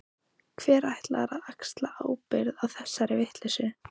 Hver ætlar að axla ábyrgð á þessari vitleysu?